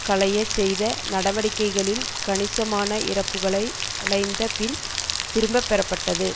களையச் செய்த நடவடிக்கைகளில் கணிசமான இறப்புக்களை அடைந்த பின் திரும்ப பெறப்பட்டது